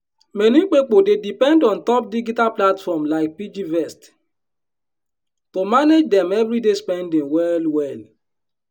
many pipo dey depend on top digital platform like piggyvest to manage dem everyday spending well well.